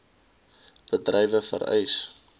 d bedrywe vereis